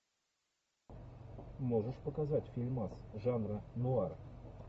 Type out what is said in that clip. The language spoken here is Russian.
можешь показать фильмас жанра нуар